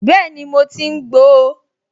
Bẹ́ẹ̀ni, mo ti ń gbo ó